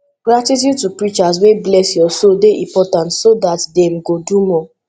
gratitude to preachers wey bless your soul de important so that dem go do more